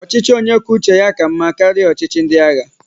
Ọchịchị onye kwuo uche ya ka mmá karịa ọchịchị ndị agha.